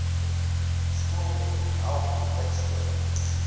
skoolnet help lidskole